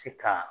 Ti ka